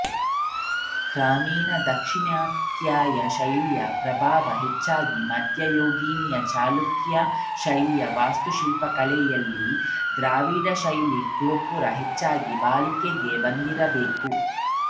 ಕ್ರಮೇಣ ದಾಕ್ಷಿಣಾತ್ಯ ಶೈಲಿಯ ಪ್ರಭಾವ ಹೆಚ್ಚಾಗಿ ಮಧ್ಯಯುಗೀನ ಚಾಲುಕ್ಯ ಶೈಲಿಯ ವಾಸ್ತುಶಿಲ್ಪಕಲೆಯಲ್ಲಿ ದ್ರಾವಿಡ ಶೈಲಿಯ ಗೋಪುರ ಹೆಚ್ಚಾಗಿ ಬಳಕೆಗೆ ಬಂದಿದ್ದಿರಬೇಕು